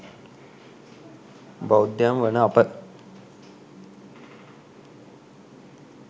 බෞද්ධයන් වන අප